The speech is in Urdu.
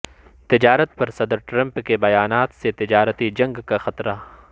تجارت پر صدر ٹرمپ کے بیانات سے تجارتی جنگ کا خطرہ